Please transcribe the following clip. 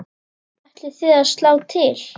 Ætlið þið að slá til?